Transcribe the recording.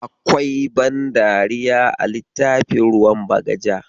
Akwai ban dariya a littafin ruwan bagaja.